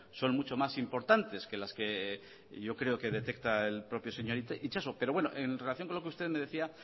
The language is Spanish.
son mucho más importantes que las que yo creo que detecta el propio señor itsaso pero bueno en relación con lo que usted me decía